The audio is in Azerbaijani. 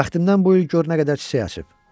Bəxtimdən bu il gör nə qədər çiçək açıb.